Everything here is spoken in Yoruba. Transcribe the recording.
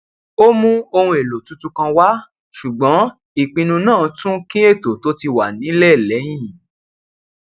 ó mú ohun èlò tuntun kan wá ṣùgbọn ìpinnu náà tún kín ètò tó ti wà nílẹ lẹyìn